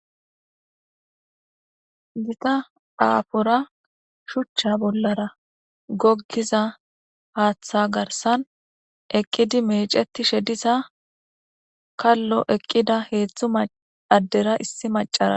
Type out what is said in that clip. Dita aafora shuchcha bollara goggiza haaththa garsan eqqidi meecetishe diza kallo eqqida heedzdzu addera issi macara.